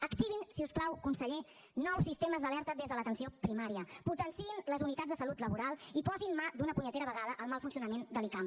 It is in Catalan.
activin si us plau conseller nous sistemes d’alerta des de l’atenció primària potenciïn les unitats de salut laboral i posin mà d’una punyetera vegada al mal funcionament de l’icam